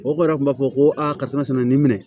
O kɔrɔ kun b'a fɔ ko a karisa nin minɛ